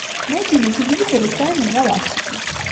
найди на телевизоре тайны галактики